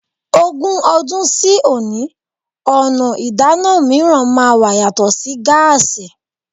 Ogún ọdún sí òní, ọ̀nà ìdáná mìíràn máa wà yàtọ̀ sí gáàsí.